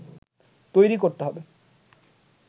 তৈরি করতে হবে